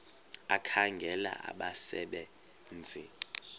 ekhangela abasebe nzi